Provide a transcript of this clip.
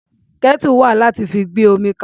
Kẹ́tù wà láti fi gbé omi kaná.